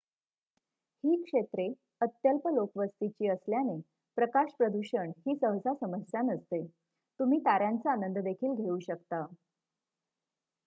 ही क्षेत्रे अत्यल्प लोकवस्तीची असल्याने प्रकाश प्रदूषण ही सहसा समस्या नसते तुम्ही तार्‍यांचा आनंद देखील घेऊ शकता